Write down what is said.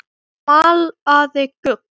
Malaði gull.